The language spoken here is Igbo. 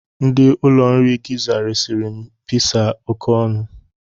Ndị ụlọ nri Gizza resịrị gị pizza a oké ọnụ.